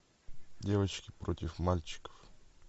девочки против мальчиков